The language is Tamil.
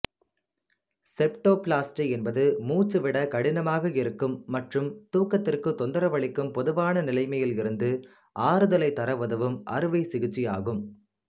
செப்டோப்ளாஸ்டி என்பது மூச்சுவிடக் கடினமாக இருக்கும் மற்றும் தூக்கத்திற்கு தொந்தரவளிக்கும் பொதுவான நிலையிலிருந்து ஆறுதலைத் தர உதவும் அறுவைச் சிகிச்சையாகும்